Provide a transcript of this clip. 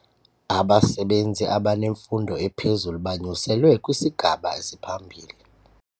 Abasebenzi abanemfundo ephezulu banyuselwe kwisigaba esiphambili.